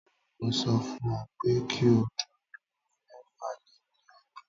Mo sọ fún ọ pé kí o dúró lórí mẹ́fà lé ní ọgbọ̀n.